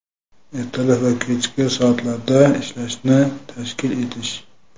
ertalab va kechki soatlarda ishlashini tashkil etish;.